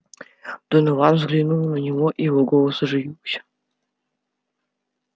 донован взглянул на него и его голос оживился